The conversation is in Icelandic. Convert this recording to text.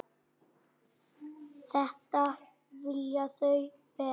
Þetta vilja þau vera.